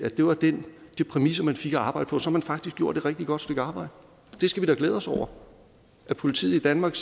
det var de præmisser man fik at arbejde på så har man faktisk gjort et rigtig godt stykke arbejde det skal vi da glæde os over at politiet i danmark